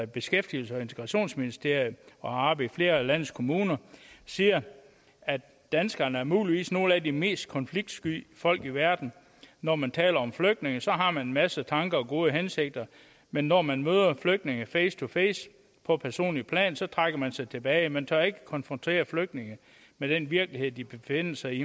beskæftigelses og integrationsministeriet og i flere af landets kommuner siger at danskerne muligvis er nogle af de mest konfliktsky folk i verden når man taler om flygtninge så har man en masse tanker og gode hensigter men når man møder flygtningene face to face på et personligt plan så trækker man sig tilbage man tør ikke konfrontere flygtninge med den virkelighed de befinder sig i